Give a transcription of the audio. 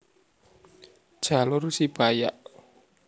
Jalur Sibayak